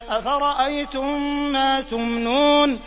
أَفَرَأَيْتُم مَّا تُمْنُونَ